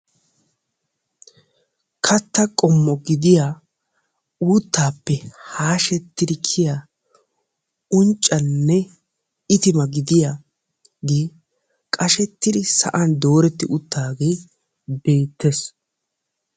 Katta qommo gidiyaa uutappe haashetidi kiyiyya unccanne itiima gidiyaage qashshetidi sa'an uttaage beettes.